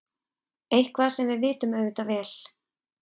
Eitthvað sem við vitum auðvitað vel.